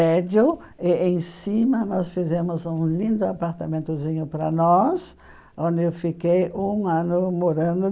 Prédio e, em cima, nós fizemos um lindo apartamentozinho para nós, onde eu fiquei um ano morando.